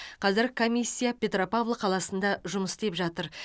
қазір комиссия петропавл қаласында жұмыс істеп жатыр